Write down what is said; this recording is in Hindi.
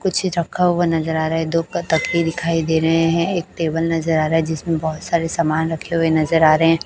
कुछ रखा हुआ नजर आ रहा है दो प तकिए दिखाई दे रहे हैं एक टेबल नजर आ रहा है जिसमें बहोत सारे समान रखे हुए नजर आ रहे हैं।